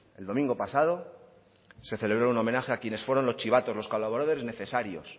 el domingo pasado se celebró un homenaje a quienes fueron los chivatos los colaboradores necesarios